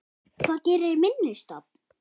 Hvað gerir minni stofn?